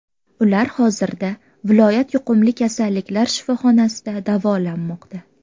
Ular hozirda viloyat yuqumli kasalliklar shifoxonasida davolanmoqda.